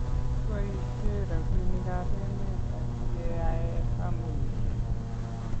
keboishe robinikab emet asigeyai kampunishek